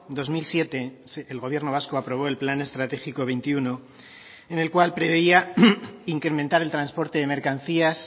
dos mil siete el gobierno vasco aprobó el plan estratégico veintiuno en el cual preveía incrementar el transporte de mercancías